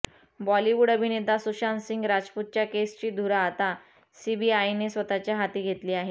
बॉलिवूड अभिनेता सुशांतसिंह राजपूतच्या केसची धुरा आता सीबीआयने स्वतःच्या हाती घेतली आहे